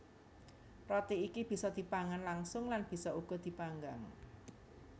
Roti iki bisa dipangan langsung lan bisa uga dipanggang